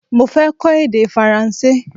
Mo fẹ́ kọ́ èdè Faransé